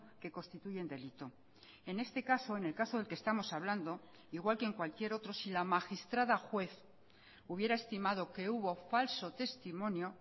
que constituye un delito en este caso en el caso del que estamos hablando igual que en cualquier otro si la magistrada juez hubiera estimado que hubo falso testimonio